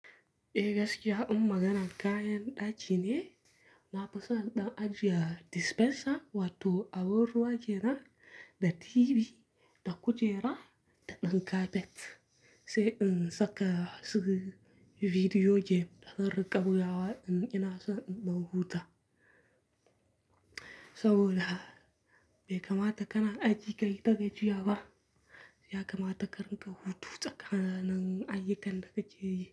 Be gaskiya, in maganan kayan ɗaci ne, na fi so ɗan ajiya dispenser wato abin ruwa jera da TV da kujera da ɗan kafet, sai in saka su bidiyo je na riƙa koya wa in ina so in ɗau huta. Saboda be kamata kana ajiye kayitar da juya ba, ya kamata ka rinƙa hutu tsakanin ayyukan da ka je yi.